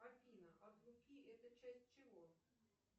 афина от луки это часть чего